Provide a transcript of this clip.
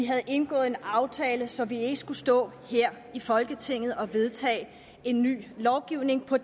havde indgået en aftale så vi ikke skulle stå her i folketinget og vedtage en ny lovgivning på